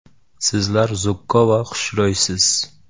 Sizlar zukko va xushro‘ysiz.